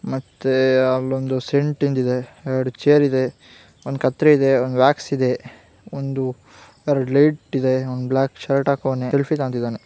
ಮತ್ತೆ ಅಲ್ಲಿ ಒಂದು ಸೆಂಟ್ ಇದೆ ಎರಡ್ ಚೇರ್ ಇದೆ ಒಂದ್ ಕತ್ತರಿ ಇದೆ ಒಂದ್ ವ್ಯಾಕ್ಸ್ ಇದೆ ಒಂದು ಎರಡ ಲೈಟ್ ಇದೆ ಒಂದು ಬ್ಲಾಕ್ ಶರ್ಟ್ ಹಾಕೊನ್ನೆ ಸೆಲ್ಫಿಯ ತೊಗೋಂತ್ತಿದಾನೆ .